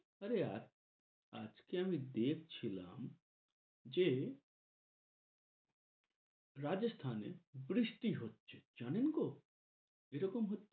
আরে আর আজকে আমি দেখ ছিলাম যে রাজস্থানে বৃষ্টি হচ্ছে। জানেন গো? এ রকম হলে~